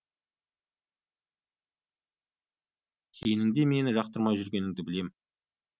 сенің де мені жақтырмай жүргеніңді білем